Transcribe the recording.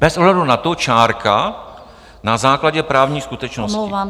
Bez ohledu na to, čárka, na základě právní skutečnosti.